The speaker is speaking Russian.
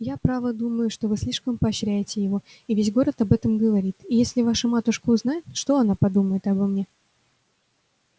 я право думаю что вы слишком поощряете его и весь город об этом говорит и если ваша матушка узнает что она подумает обо мне